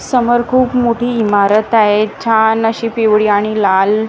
समोर खूप मोठी ईमारत आहे छान अशी पिवळी आणि लाल रंगानी ती--